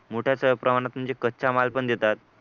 मोठ्या प्रमाणात म्हणजे कच्चा माल पण देतात